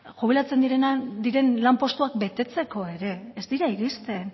jubilatzen diren lanpostuak betetzeko ere ez dira iristen